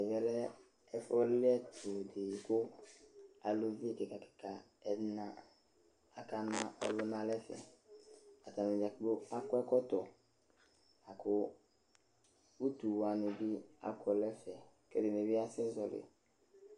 Ɛvɛ ɛfʋ lɩɛtʋ dɩ kʋ aluvi kɩka kɩka ɛna akana ɔlʋ nʋ ɛfɛ Atanɩ dza kplo akɔ ɛkɔtɔ la kʋ utu wanɩ bɩ akɔ nʋ ɛfɛ Ɛdɩnɩ bɩ asɛzɔɣɔlɩ